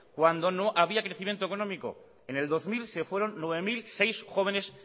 cuando había crecimiento económico en el dos mil se fueron nueve mil seis jóvenes